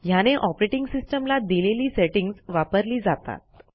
ह्याने operating system ला दिलेली सेटिंग्ज वापरली जातात